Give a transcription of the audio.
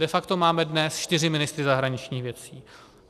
De facto máme dnes čtyři ministry zahraničních věcí.